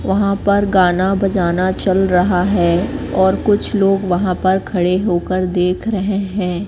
वहां पर गाना बजाना चल रहा है और कुछ लोग वहां पर खड़े होकर देख रहे हैं।